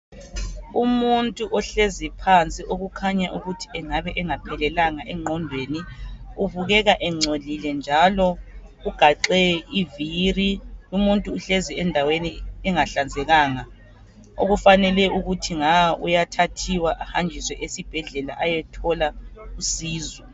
Umuntu ohlezi phansi okukhanya ukuthi engabe engaphelelanga engqondweni. ubukeka engcolile njalo ugaxe iviri . Umuntu uhlezi endaweni engahlanzekanga .Okufanele ukuthi nga uyathathwa ahanjiswe esibhedlela ayethola usizo.